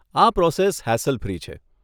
આ process hassle free છે.